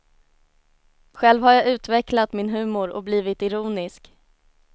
Själv har jag utvecklat min humor och blivit ironisk.